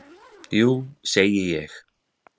Jú segi ég.